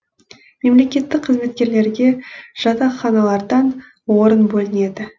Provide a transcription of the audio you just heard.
мемлекеттік қызметкерлерге жатақханалардан орын бөлінеді